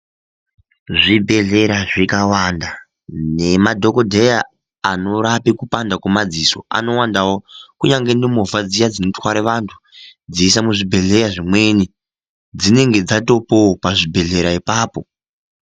Zvibhedhlera zvikawanda nemadhokodheya anorapa kupanda kwemadziso anowandawo kunyange nemovha dziya dzinotware vantu dzeiisa muzvibhedhleya zvimweni dzinenge dzatopoo pazvibhedhlera ipapo.